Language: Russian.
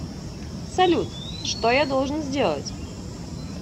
салют что я должен сделать